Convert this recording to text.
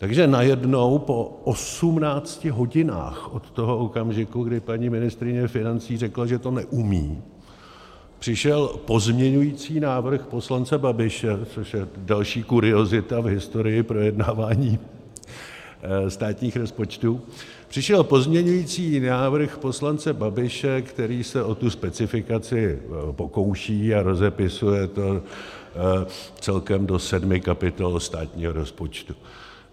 Takže najednou po 18 hodinách od toho okamžiku, kdy paní ministryně financí řekla, že to neumí, přišel pozměňující návrh poslance Babiše, což je další kuriozita v historii projednávání státních rozpočtů, přišel pozměňovací návrh poslance Babiše, který se o tu specifikaci pokouší a rozepisuje to celkem do sedmi kapitol státního rozpočtu.